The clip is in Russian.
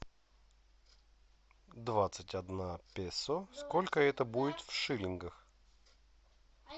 двадцать одна песо сколько это будет в шиллингах